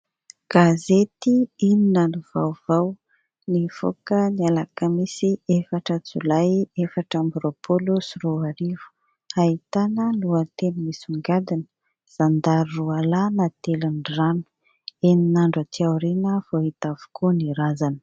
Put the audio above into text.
Gazety lnona no Vaovao nivoaka ny alakamisy efatra jolay efatra amby roapolo sy roa arivo, ahitana lohateny misongadina : Zandary roalahy natelin'ny rano, enina andro aty aorina vao hita avokoa ny razana.